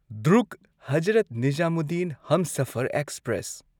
Durg Hazrat Nizamuddin Humsafar express